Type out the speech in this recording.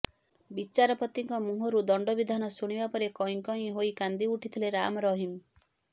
ବିଚାରପତିଙ୍କ ମୁହଁରୁ ଦଣ୍ଡବିଧାନ ଶୁଣିବା ପରେ କଇଁ କଇଁ ହୋଇ କାନ୍ଦିଉଠିଥିଲେ ରାମରହିମ